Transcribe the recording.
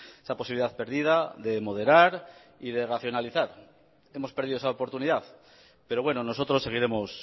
esa posibilidad perdida de moderar y de racionalizar hemos perdido esa oportunidad pero bueno nosotros seguiremos